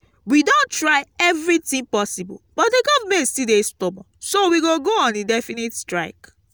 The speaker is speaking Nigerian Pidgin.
we don try everything possible but the government still dey stubborn so we go go on indefinite strike